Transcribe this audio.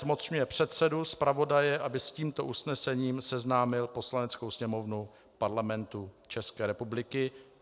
Zmocňuje předsedu, zpravodaje, aby s tímto usnesením seznámil Poslaneckou sněmovnu Parlamentu České republiky.